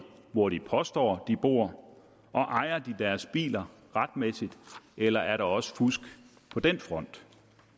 hvor de påstår de bor og ejer de deres biler retmæssigt eller er der også fusk på den front